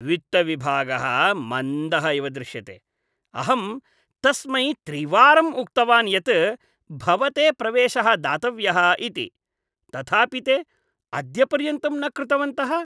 वित्तविभागः मन्दः इव दृश्यते। अहं तस्मै त्रिवारम् उक्तवान् यत् भवते प्रवेशः दातव्यः इति, तथापि ते अद्यपर्यन्तं न कृतवन्तः।